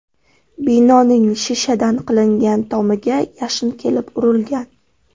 Binoning shishadan qilingan tomiga yashin kelib urilgan.